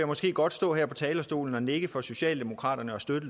måske godt stå her på talerstolen og nikke for socialdemokraterne og støtte